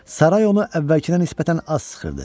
Saray onu əvvəlkinə nisbətən az sıxırdı.